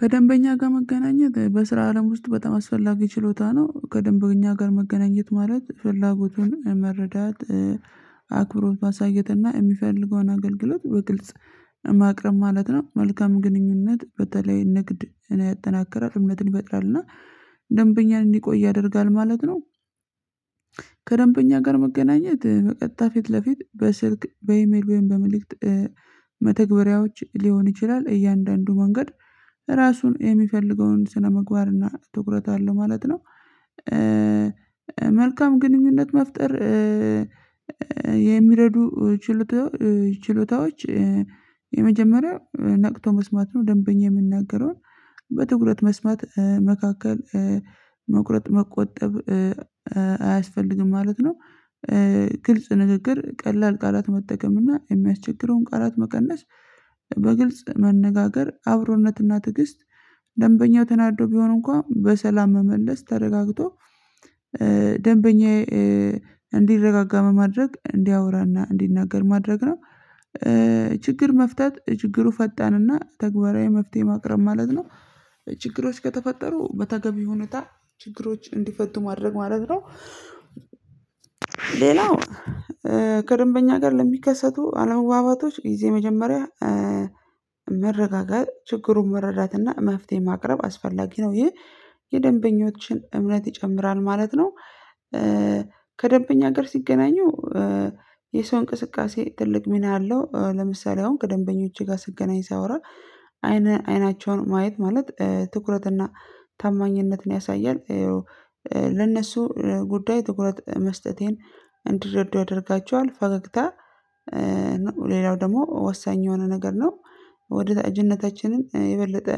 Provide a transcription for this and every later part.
ከደንበኛ ጋር መገናኘት በስራ አለም ውስጥ በጣም አስፈላጊ ችሎታ ነው ከደንበኛ ጋር መገናኘት ማለት ፍላጎቱን መረዳት አክብሮት ማሳየትና የሚፈልገውን አገልግሎት በግልጽ ማቅረብ ማለት ነው። መልካም ግንኙነት በተለይ ንግድን ያጠናክራል እምነትን ይፈጥራልና ደንበኛን እንዲቆይ ያደርጋል ማለት ነው። ከደንበኛ ጋር መገናኘት በቀጥታ ፊት ለፊት በስልክ በኢሜል ወይም በመልእክት መተግበሪያዎች ሊሆን ይችላል። እያንዳንዱ መንገድ ራሱን የሚፈልገውን ስነምግባርና ትኩረት አለ ማለት ነው። መልካም ግንኙነት መፍጠር የሚረዱ ችሎታዎች የመጀመሪያ ነቅቶ መስማት ነው ደንበኛ የሚናገረውን በትኩረት መስማት መካከል መቁረጥ መቆጠብ አያስፈልግም ማለት ነው። ግልጽ ንግግር ቀላል ቃላት መጠቀም እና የሚያስቸግረውን ቃላት መቀነስ በግልጽ መነጋገር አብሮነት እና ትግስት ደንበኛው ተናዶ ቢሆን እንኳን በሰላም መመለስ ተረጋግቶ ደንበኛዬ እንዲረጋጋ በማድረግ እንዲያወራና እንዲናገር ማድረግ ነው። ችግር መፍታት ችግሩ ፈጣንና ተግባራዊ መፍትሄ ማቅረብ ማለት ነው። ችግሮች ከተፈጠሩ በተገቢ ሁኔታ ችግሮች እንዲፈቱ ማድረግ ማለት ነው። ሌላው ከደንበኛ ጋር ለሚከሰቱ አለመግባባቶች ጊዜ መጀመሪያ መረጋጋት ችግሩን መረዳትና መፍትሄ ማቅረብ አስፈላጊ ነው ይህ የደንበኞችን እምነት ይጨምራል ማለት ነው። ከደንበኛ ጋር ሲገናኙ የሰው እንቅስቃሴ ትልቅ ሚና አለው ለምሳሌ አሁን ከደንበኞቼ ጋር ስገናኝ ሳወራ አይን አይናቸውን ማየት ማለት ትኩረትና ታማኝነትን ያሳያል። ለእነሱ ጉዳይ ትኩረት መስጠቴን እንዲርዱ ያደርጋቸዋል። ፈገግታ ሌላው ደግሞ ወሳኝ የሆነ ነገር ነው ወዳጅነታችነነ የበለጠ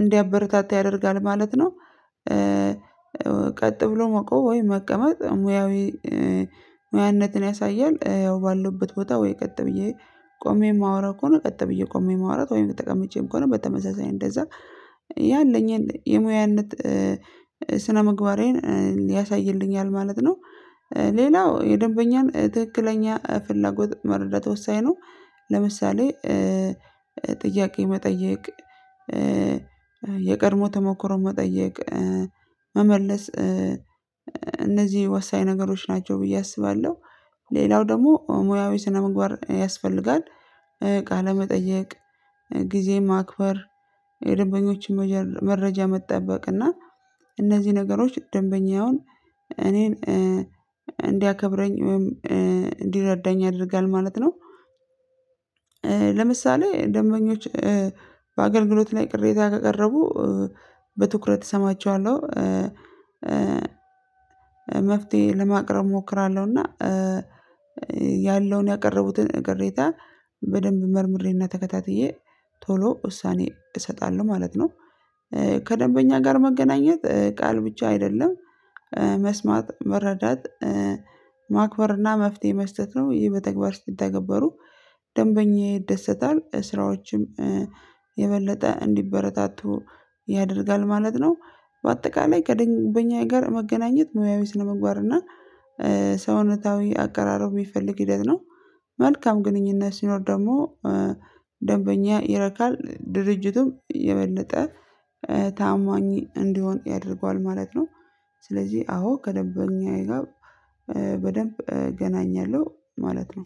እንዲያበረታታ ያደርጋል ማለት ነው። ቀጥ ብሎ መቆም ወይ መቀመጥ ሙያዊ ሙያነትን ያሳያል። ያው ባለሁበት ቦታ ወይ ቀጥ ብዬ ቆሜ የማወራው ከሆነ ቀጥ ብዬ ቆሜ ማውራት ወይም ተቀምጬም ከሆነ በተመሳሳይ እንደዛ ያለኝን የሙያነት ስነምግባሬን ያሳይልኛል ማለት ነው። ሌላው የደንበኛን ትክክለኛ ፍላጎት መረዳት ወሳኝ ነው ለምሳሌ ጥያቄ መጠየቅ የቀድሞ ተሞክሮ መጠየቅ መመለስ እነዚህ ወሳኝ ነገሮች ናቸው ብዬ አስባለሁ። ሌላው ደግሞ ሙያዊ ስነምግባር ያስፈልጋል። ቃለመጠየቅ ጊዜ ማክበር የደንበኞችን መረጃ መጠበቅ እና እነዚህ ነገሮች ደንበኛውን እኔን እንዲያከብረኝ ወይም እንዲረዳኝ ያደርጋል ማለት ነው። ለምሳሌ ደንበኞች በአገልግሎት ላይ ቅሬታ ካቀረቡ በትኩረት እሰማቸዋለሁ። መፍትሄ ለማቅረብ እሞክራለሁና ያለውን ያቀረቡትን ቅሬታ በደንብ መርምሬና ተከታትዬ ቶሎ ውሳኔ እሰጣለሁ ማለት ነው። ከደንበኛ ጋር መገናኘት ቃል ብቻ አይደለም መስማት መረዳት ማክበር እና መፍትሄ መስጠት ነው። ይህ በተግባር ሲተገበሩ ደንበኛ ይደሰታል ስራዎችም የበለጠ እንዲበረታቱ ያደርጋል ማለት ነው። በአጠቃላይ ከደንበኛ ጋር መገናኘት ሙያዊ ስነምግባርና ሰውነታዊ አቀራረብ የሚፈልግ ሂደት ነው። መልካም ግንኙነት ሲኖር ደግሞ ደንበኛ ይረካል ድርጅቱም የበለጠ ታማኝ እንዲሆን ያደርገዋል ማለት ነው። ስለዚህ አዎ ከደበኛዬ ጋር በደንብ እገናኛለሁ ማለት ነው።